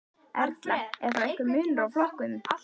Erla: Er þá einhver munur á flokkum?